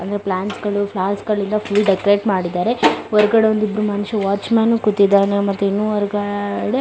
ಅಂದ್ರೆ ಪ್ಲಾಂಟ್ಸ್ ಗಳು ಫ್ಲವರ್ಸ್ ಗಳಿಂದ ಫುಲ್ ಡೆಕೋರಟ್ ಮಾಡಿದರೆ ಹೊರಗಡೆ ಒಂದ ಇಬ್ರು ಮನಷ್ಯರು ವಾಚ್ ಮ್ಯಾನ್ ಕೂತಿದ್ದಾನೆ ಮತ್ತೆ ಇನ್ನು ಹೊರಗಡೆ --